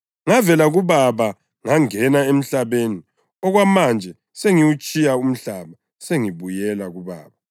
Ngavela kuBaba ngangena emhlabeni; okwamanje sengiwutshiya umhlaba sengibuyela kuBaba.”